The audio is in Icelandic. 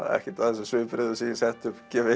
ekkert af þessum svipbrigðum sem ég setti upp gefi